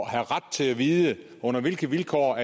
at have ret til at vide under hvilke vilkår